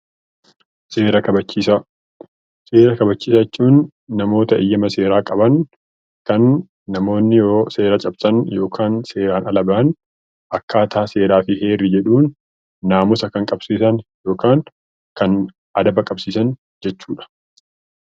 Seera kabachiisaa seera kabachiisaa jechuun Namoota eyyama seeraa qaban Namoonni yoo seera cabsan yookaan seeraan ala ta'an akkaataa seerri jedhuun seera kan qabsiisan jechuudha